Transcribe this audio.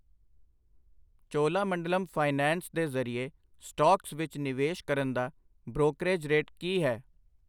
Cholamandalam finance ਦੇ ਜਰੀਏ stocks ਵਿੱਚ ਨਿਵੇਸ਼ ਕਰਨ ਦਾ ਬ੍ਰੋਕਰਿਜ ਰੇਟ ਕਿ ਹੈ ?